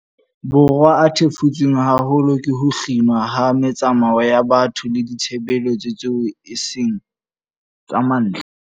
Borwa a thefutsweng haholo ke ho kginwa ha metsamao ya batho le ditshebeletso tseo e seng tsa mantlha.